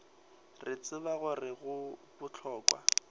re tseba gore go bohlokwa